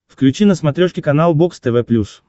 включи на смотрешке канал бокс тв плюс